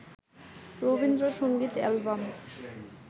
Rabindrasangeet album